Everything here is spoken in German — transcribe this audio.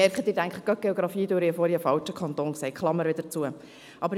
Ich merke in Bezug auf die Geografie, dass ich vorhin einen falschen Kanton erwähnt habe.